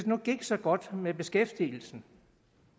nu gik så godt med beskæftigelsen